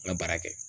N ka baara kɛ